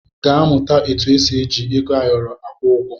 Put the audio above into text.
Gaa mụta etu esi eji ego ayọrọ akwụ ụgwọ!